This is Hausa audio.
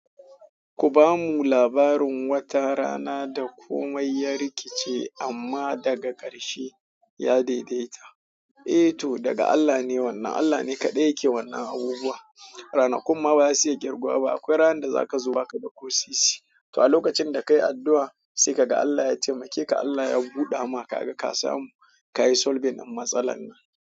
Ku ba mu labarin wata rana da komai ya rikice amma daga ƙarshe ya daidaita. Eh to, daga Allah ne wannan. Allah ne kaɗai yake wannan abubuwa. Ranankumma ba za su iya girguwa ba. Akwai ranar da za ka zo ba ka da ƙosisi. To a lokacin da ka yi addu'a sai ka ga Allah ya taimakeka, Allah ya buɗe maka aka ka samu, ka yi solving na matsalar nan.